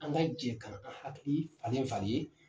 An ka jɛn k'an hakili falen falen.